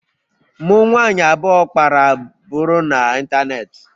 Mụ nwanyị abụọ kpara buru n'ịntanetị